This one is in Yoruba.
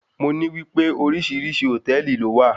Mo ní wípé oríṣi hòtẹ́ẹ̀lì ló wà.